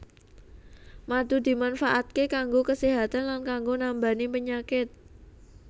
Madu dimanfaatké kanggo kaséhatan lan kanggo nambani penyakit